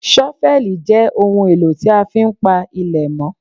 ṣọ́fẹ́lì jẹ́ ohun èlò tí a fi ń pa ilẹ̀ mọ́